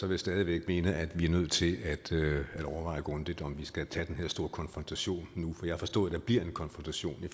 jeg stadig væk mene at vi er nødt til at overveje grundigt om vi skal tage den her store konfrontation nu for jeg forstod at der bliver en konfrontation i